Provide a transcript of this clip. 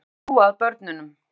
Þurfum að hlúa að börnunum